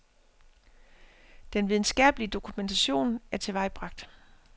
Den videnskabelige dokumentation er tilvejebragt.